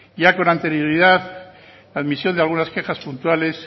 ya con anterioridad la admisión de algunas quejas puntuales